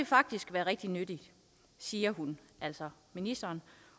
faktisk være rigtig nyttigt siger hun altså ministeren